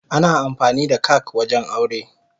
Ana amfani da kak wajen aure.